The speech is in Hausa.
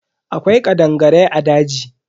Akwai kadangarai a daji.